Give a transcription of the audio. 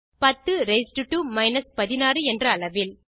10 raised to 16 என்ற அளவில்